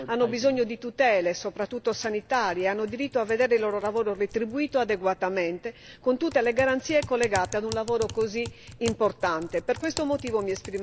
Le donne pescatrici hanno bisogno di tutele, soprattutto sanitarie, e hanno diritto a vedere il loro lavoro retribuito adeguatamente con tutte le garanzie collegate a un lavoro così importante.